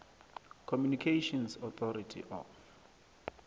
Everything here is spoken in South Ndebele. communications authority of